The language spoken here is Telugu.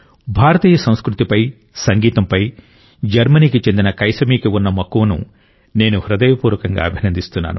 భారతీయ సంస్కృతిపై సంగీతంపై జర్మనీకి చెందిన కైసమీకి ఉన్న మక్కువను నేను హృదయపూర్వకంగా అభినందిస్తున్నాను